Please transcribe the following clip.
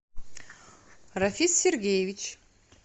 рафис сергеевич